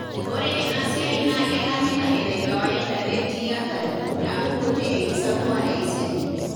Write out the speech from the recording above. Ore ena siai naa kelamita enekawaida netii hatari naaku kuti enkisampuare e siadi.